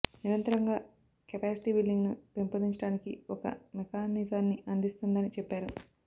నిరంతరంగా capacity building ను పెంపొందించడానికి ఒక మెకానిజాన్ని అందిస్తుందని చెప్పారు